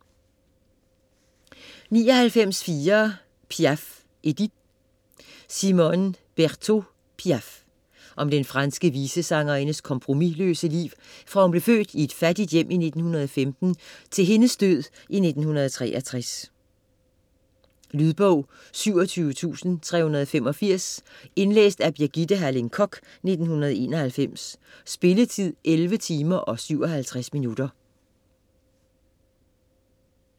99.4 Piaf, Edith Berteaut, Simone: Piaf Om den franske visesangerindes kompromisløse liv fra hun blev født i et fattigt hjem i 1915 til hendes død i 1963. Lydbog 27385 Indlæst af Birgitte Halling Koch, 1991. Spilletid: 11 timer, 57 minutter.